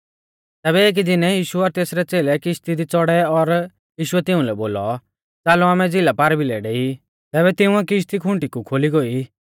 तैबै एकी दीनै यीशु और तेसरै च़ेलै किश्ती दी च़ौड़ै और यीशुऐ तिउंलै बोलौ च़ालौ आमै झ़िला पारभिलै डेई तैबै तिंउऐ किश्ती खुंटीकु खोली गोई